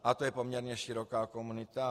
Ale to je poměrně široká komunita.